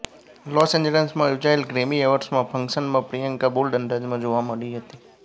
loss એન્જલસમાં યોજાયેલ Grammy અવોર્ડ્સના ફંક્શનમાં પ્રિયંકા બોલ્ડ અંદાજમાં જોવા મળી હતી